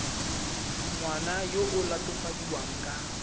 ngwana yo o latofadiwang ka